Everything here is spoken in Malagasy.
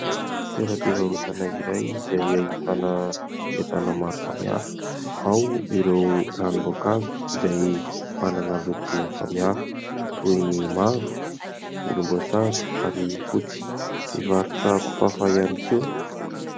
Toeram-pivarotana iray izay ahitana entana maro samihafa ; ao ireo ranom-boankazo izay manana loko samihafa toy ny : mavo, volomboasary ary fotsy. Mivarotra kofafa ihany koa.